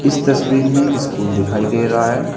इस तस्वीर में एक स्कूल दिखाई दे रहा है।